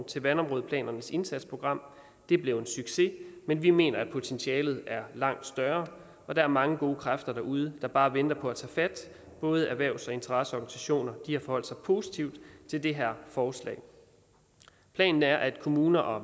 til vandområdeplanernes indsatsprogram det blev en succes men vi mener at potentialet er langt større og der er mange gode kræfter derude der bare venter på at tage fat både erhvervs og interesseorganisationer har forholdt sig positivt til det her forslag planen er at kommuner og